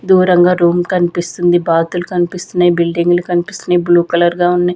దూరంగా రూమ్ కనిపిస్తుంది బాతులు కనిపిస్తున్నాయి బిల్డింగ్లు కనిపిస్తున్నాయి బ్లూ కలర్ గా ఉన్నాయి.